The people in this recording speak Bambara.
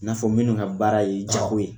N'a fɔ minnu ka baara ye jago ye